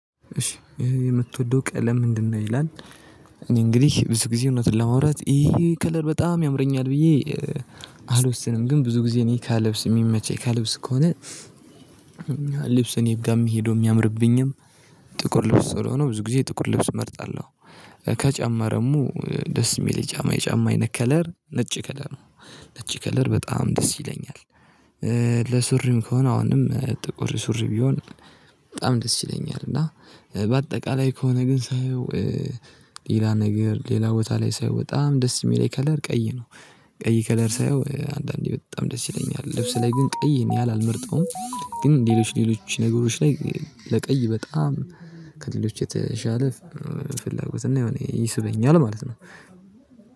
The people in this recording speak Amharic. እሺ ይሄ የምትወደው ቀለም ምንድነው ይላል? እኔ እንግዲህ ብዙ ጊዜ እውነቱን ለማውራት ይሄ ከለር በጣም ያምረኛል ብዬ አልወስንም ግን ብዙ ጊዜ እኔ ከልብስ የሚመቸኝ ከልብስ ከሆነ ልብሱን እኔ ጋም ሄዶ የሚያምርብኝም ጥቁር ልብስ ስለሆነ ብዙ ጊዜ ጥቁር ልብስ እመርጣለሁ። ከጫማ ደግሞ ደስ የሚል የጫማ የጫማ አይነት ከለር ነጭ ከለር ነው ነጭ ከለር በጣም ደስ ይለኛል። ለሱሪም ከሆነ አሁንም ጥቁር ሱሪ ቢሆን በጣም ደስ ይለኛል። እና በአጠቃላይ ከሆነ ግን ሳየው ሌላ ነገር ሌላ ቦታ ላይ ሳየው በጣም ደስ የሚለኝ ከለር ቀይ ነው ቀይ ከለር ሳየው አንዳንዴ በጣም ደስ ይለኛል። ልብስ ላይ ግን ቀይ እኔ አልመርጠውም ግን ሌሎች ሌሎች ነገሮች ላይ ለቀይ በጣም ከሌሎች የተሻለ ፍላጎት እና የሆነ ይስበኛል ማለት ነው።